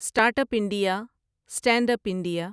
start up India, stand up India